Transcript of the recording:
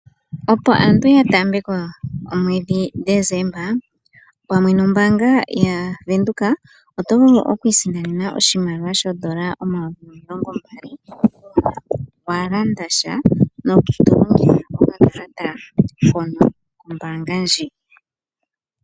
Opo aantu yataambeko omweedhi Decemba, pamwe nombaanga yaWindhoek, oto vulu okwiisindanena oshimaliwa shoondola omayovi omilongo mbali ngele walanda tya tolongitha okakalata kombaanga ndji.